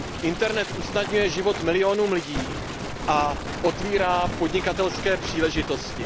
Internet usnadňuje život milionům lidí a otevírá podnikatelské příležitosti.